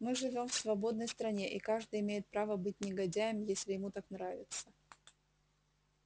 мы живём в свободной стране и каждый имеет право быть негодяем если ему так нравится